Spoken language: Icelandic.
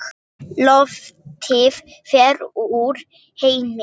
Loftið fer úr þeim.